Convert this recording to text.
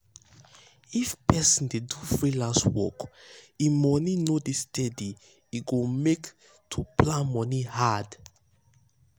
if person dey do freelance work wey money no dey steady e go make to plan moni hard.